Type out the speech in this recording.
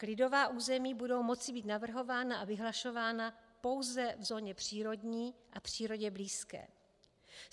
Klidová území budou moci být navrhována a vyhlašována pouze v zóně přírodní a přírodě blízké.